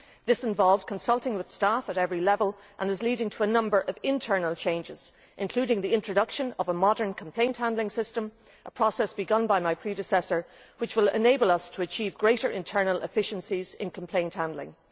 This involved consulting with staff at every level and is leading to a number of internal changes, including the introduction of a modern complaint handling system, a process begun by my predecessor, which will enable us to achieve greater internal efficiencies in complaint handling